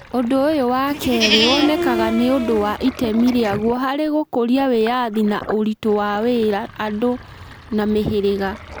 Ũndũ ũyũ wa kerĩ wonekaga nĩ ũndũ wa itemi rĩaguo harĩ gũkũria wĩyathi na ũritũ wa wĩra andũ na mĩhĩrĩga.